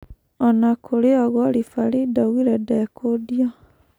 Ona-kũrĩoũguo ribarii ndaugire ndekũndio.